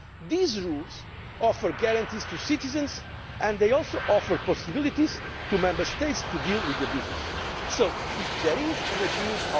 These rules offer guarantees to citizens, and they also offer possibilities to the Member States to deal with